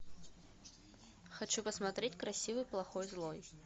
хочу посмотреть красивый плохой злой